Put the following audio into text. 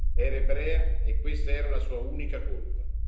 Era ebrea e questa era la sua unica colpa.